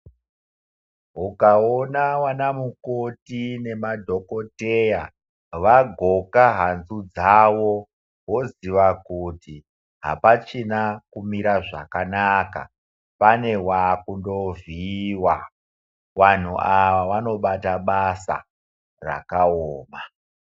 Ukaona vanamukoti nemadhokodheya vagoka hanzu dzavo woziva kuti hapachina kumira zvakanaka pane wakundovhiyiwa. Vanhu ava vanobata basa rakaoma.